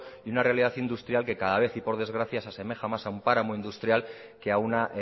y una realidad industrial que cada vez y por desgracia se asemeja más a un páramo industrial que a una